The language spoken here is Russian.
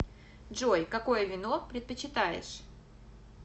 джой какое вино предпочитаешь